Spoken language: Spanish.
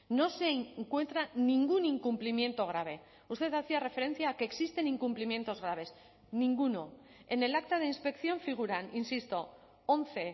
no se encuentra ningún incumplimiento grave usted hacía referencia que existen incumplimientos graves ninguno en el acta de inspección figuran insisto once